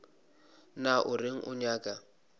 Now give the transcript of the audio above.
na o reng o nyaka